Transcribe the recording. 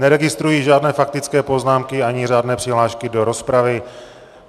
Neregistruji žádné faktické poznámky ani řádné přihlášky do rozpravy.